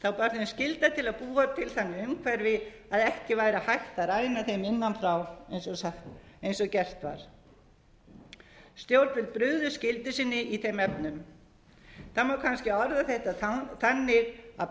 að búa til þannig umhverfi að ekki væri hægt að ræna þeim innan frá eins og gert var stjórnvöld brugðust skyldu sinni í þeim efnum það má kannski orða þetta þannig að bankamennirnir